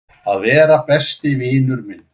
Að vera besti vinur minn.